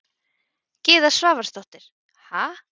Gyða Svavarsdóttir: Ha?